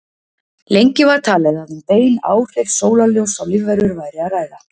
Lengi var talið að um bein áhrif sólarljóss á lífverur væri að ræða.